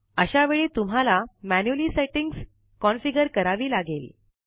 आशा वेळी तुम्हाला manually settings configure करावी लागेल